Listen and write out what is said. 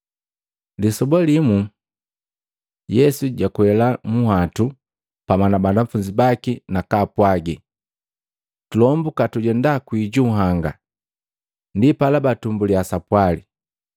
Lisoba limwa Yesu jakwela munhwatu pamwa na banafunzi baki na kwaapwagi, “Tulombuka tujenda kwii junhanga.” Ndipala, batumbulya sapwali.